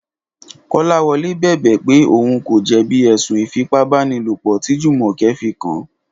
Kọ́láwọlé bẹ̀bẹ̀ pé òun kò jẹ̀bi ẹ̀sùn Ìfipábánilòpọ̀ tí Jùmọ̀kẹ́ fi kàn án